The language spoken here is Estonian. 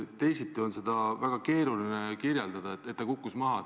Teisiti on seda väga keeruline seletada, miks see toetus maha kukkus.